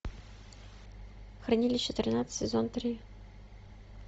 хранилище тринадцать сезон три